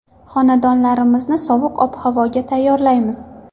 Xonadonlarimizni sovuq ob-havoga tayyorlaymiz.